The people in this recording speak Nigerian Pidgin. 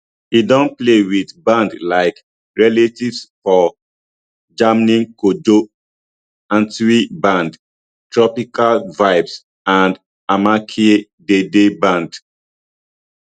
e don play wit bands like relatives for germany kojo antwi band tropical vibes and amakye dede band